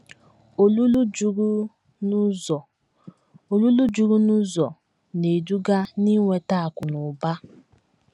Olulu juru n’ụzọ Olulu juru n’ụzọ na - eduga n’inweta akụ̀ na ụba!